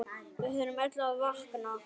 Við þurfum öll að vakna!